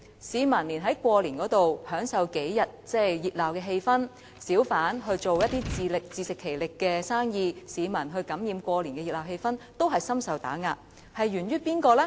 市民想在過年期間感受數天的熱鬧氣氛，小販想自食其力地做生意，但也深受打壓，這問題究竟源於誰呢？